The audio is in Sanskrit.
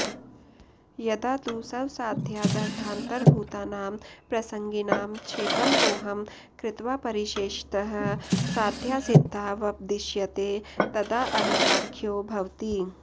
यदा तु स्वसाध्यादर्थान्तरभूतानां प्रसंगिनां क्षेपमपोहं कृत्वा परिशेषतः साध्यसिद्धावपदिश्यते तदाऽवीताख्यो भवति